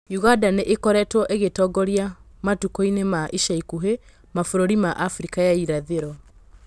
ũganda nĩ ĩ koretwo ĩ gitongoria matũkũinĩ ma ica ikũhĩ mabûrũrinĩ ma Afrika ya irathĩ ro.